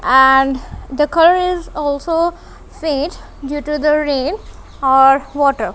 and the curries also faith due to the rain or water.